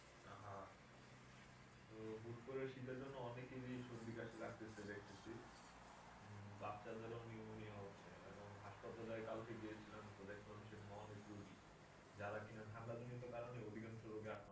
আহা তো হুট করে শীতের জন্য অনেকেরই সর্দি কাশি লাগতাছে দেখতেছি উম বাচ্চাদেরও pneumonia হচ্ছে এবং হাসপাতালে কালকে গিয়েছিলাম তো দেখলাম সেখানে অনেক রুগি যারা কিনা ঠাণ্ডা জনিত কারণে অধিকাংশ রোগে আক্রান্ত হয়েছে।